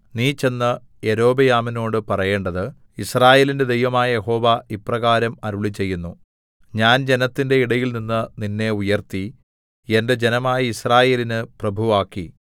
നീ ചെന്ന് യൊരോബെയാമിനോട് പറയേണ്ടത് യിസ്രായേലിന്റെ ദൈവമായ യഹോവ ഇപ്രകാരം അരുളിച്ചെയ്യുന്നു ഞാൻ ജനത്തിന്റെ ഇടയിൽനിന്ന് നിന്നെ ഉയർത്തി എന്റെ ജനമായ യിസ്രായേലിന് പ്രഭുവാക്കി